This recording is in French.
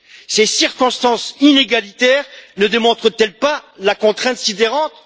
Ces circonstances inégalitaires ne démontrent elles pas la contrainte sidérante?